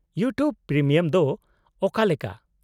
-YouTube premium ᱫᱚ ᱚᱠᱟᱞᱮᱠᱟ ?